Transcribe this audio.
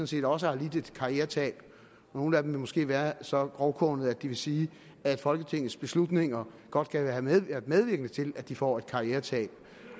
set også har lidt et karrieretab nogle af dem vil måske være så grovkornede at de vil sige at folketingets beslutninger godt kan have været medvirkende til at de får et karrieretab